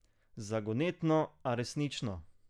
Zagonetno, a resnično.